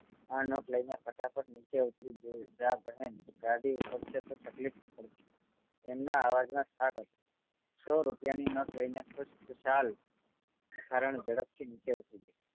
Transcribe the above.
આ નોટ લઈને ફટાફટ નીચે ઉતરી જા બહેન ગાડી ઉપડશે તો તકલીફ પડશે એમના અવાજ માં થાક હતો સૌ રૂપિયા ની નોટ લઈને ખુશ ખુશાલ ભિખારણ ઝડપ થી નીચે ઉતરી ગયી